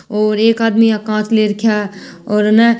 और एक आदमी कांच ले राख्या और ह न --